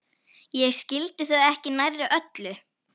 Ég skildi þau ekki nærri öll.